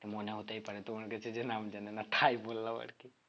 তো মনে হতেই পারে তোমার কাছে যে নাম জানে না তাই বললাম আর কি